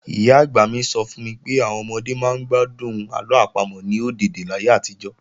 Ìyá-àgbà mi sọ fún mi pé àwọn ọmọdé máa ń gbádùn àlọ́ àpamọ̀ ní ọ̀dèdè láyé àtijọ́